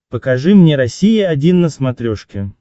покажи мне россия один на смотрешке